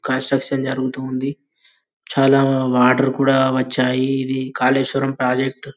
construction జరుగుతుంది చాలా water కూడా వచ్చాయి ఇది కాలేశ్వరం ప్రాజెక్టు --